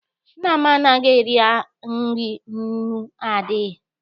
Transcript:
Nna m anaghị eri nri nnu adịghị.